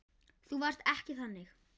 Þú varst ekki þannig.